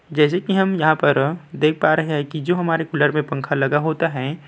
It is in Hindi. जैसे कि हम यहाँ पर देख पा रहें हैं कि जो हमारे कूलर पर पंखा लगा होता है --